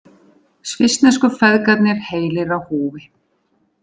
Svissnesku feðgarnir heilir á húfi